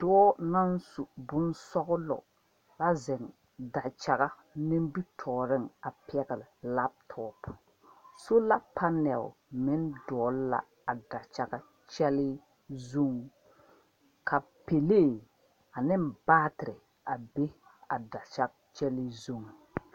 Dɔɔ naŋ su boŋ sɔglɔ a seŋ dakyaga nimitɔɔreŋ a pɛgle laptop sola panɛl meŋ dogli la a dakyaga kyɛlee zuŋ ka pɛlee ane baatere a be dakyage kyɛlee zu.